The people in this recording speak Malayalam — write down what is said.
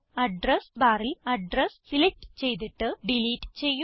അഡ്രസ് ബാറിൽ അഡ്രസ് സിലക്റ്റ് ചെയ്തിട്ട് ഡിലീറ്റ് ചെയ്യുക